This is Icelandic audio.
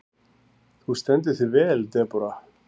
Þú stendur þig vel, Debóra!